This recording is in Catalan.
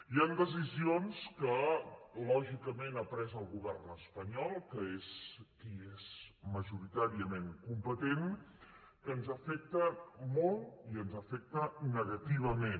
hi han decisions que lògicament ha pres el govern espanyol que és qui és majoritàriament competent que ens afecten molt i ens afecten negativament